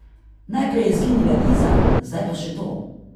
Najprej je izginila Liza, zdaj pa še to!